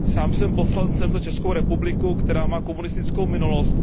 Sám jsem poslancem za Českou republiku, která má komunistickou minulost.